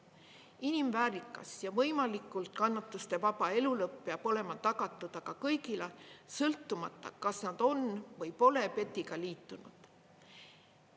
Inimväärikas ja võimalikult kannatustevaba elulõpp peab olema tagatud aga kõigile, sõltumata, kas nad on või pole PET-iga liitunud.